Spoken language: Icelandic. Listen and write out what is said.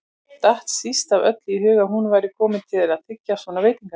Datt síst af öllu í hug að hún væri komin til að þiggja svona veitingar.